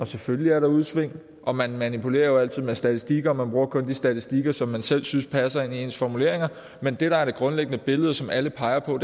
selvfølgelig er der udsving og man manipulerer jo altid med statistikker og man bruger kun de statistikker som man selv synes passer ind i ens formuleringer men det der er det grundlæggende billede og som alle peger på